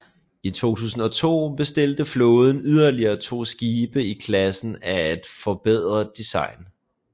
I 2002 bestilte flåden yderligere to skibe i klassen af et forbedret design